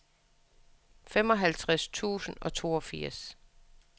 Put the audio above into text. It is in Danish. femoghalvfjerds tusind og toogfirs